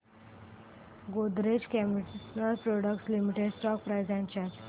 Godrej consumer products limited stock price and chart